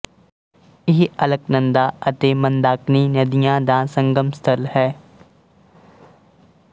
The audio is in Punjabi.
ਇਹ ਅਲਕਨੰਦਾ ਅਤੇ ਮੰਦਾਕਿਨੀ ਨਦੀਆਂ ਦਾ ਸੰਗਮਸਥਲ ਹੈ